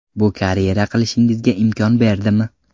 Bu karyera qilishingizga imkon berdimi?